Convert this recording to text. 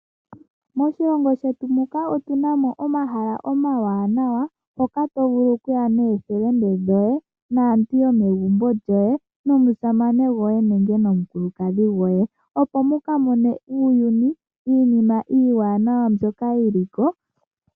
Moshilongo shetu muka otunamo omahala omawanawa mpoka tovulu okuya nookuume koye, naakwanezimo lyoye, nomusamene goye nenge nomukulukadhi goye, opo muka mone uuyuni niinima iiwaanawa mbyoka yiliko.